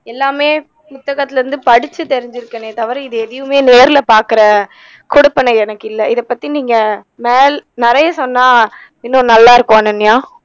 எல்லாமே புத்தகத்துல இருந்து படிச்சு தெரிஞ்சிருக்கேனே தவிற இதை எதையுமே நேருல பாக்குற கொடுப்பனை எனக்கு இல்லை இத பத்தி நீங்க மேல் நிறையா சொன்னா இன்னும் நல்லா இருக்கும் அனன்யா